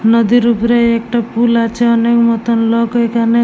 নদীর ওপরে একটা পুল আছে। অনেক নুতুন লোক ঐখানে--